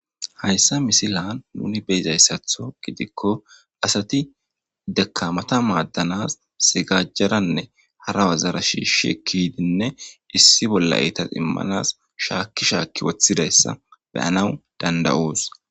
Hayssa misilan nuni be'izayssatho gidikko asati dakkamata maadanas sigajarane hara wazara shiishshi ekki yiidinne issi bolla eetas immanas shaakki shaakki woththidayssa be'anaw danda'os.